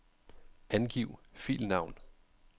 Angiv filnavn.